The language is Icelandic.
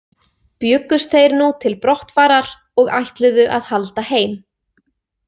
Bjuggust þeir nú til brottfarar og ætluðu að halda heim.